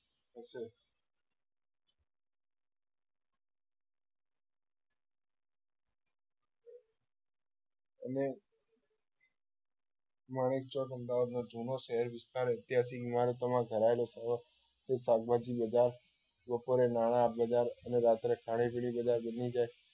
અને માંણેક ચોક અમદાવાદ માં જુનો શહેર વિસ્તાર એત્યાસિક ઈમારતોમાં ધરાયેલો છે તે શાકભાજી બજાર બપોરે નાણા બજાર અને રાત્રે ખાણીપીણી બજાર દિલ્લીગેટ